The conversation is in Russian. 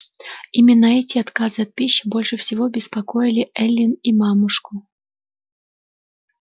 именно эти отказы от пищи больше всего беспокоили эллин и мамушку